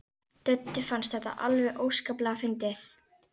Döddu fannst þetta alveg óskaplega fyndið.